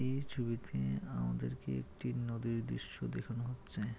এই ছবিতে আমাদেরকে একটি নদীর দৃশ্য দেখানো হচ্ছে।